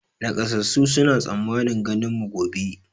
Nakasassun suna tsammanin ganin mu gobe